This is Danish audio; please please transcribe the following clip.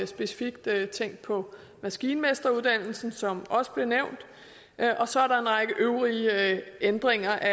specifikt på maskinmesteruddannelsen som også blev nævnt så er der en række øvrige ændringer af